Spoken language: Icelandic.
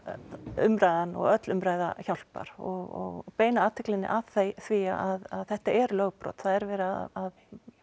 umræðan og öll umræða hjálpar og beina athyglinni að því að þetta er lögbrot það er verið að